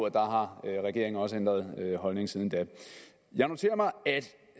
at der har regeringen også ændret holdning siden da jeg noterer mig at